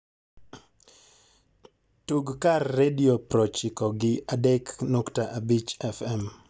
tug kar redio proochiko gi adek nukta abich f.m.